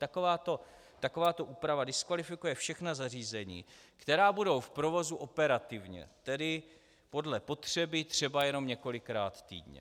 Takováto úprava diskvalifikuje všechna zařízení, která budou v provozu operativně, tedy podle potřeby třeba jenom několikrát týdně.